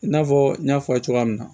I n'a fɔ n y'a fɔ a ye cogoya min na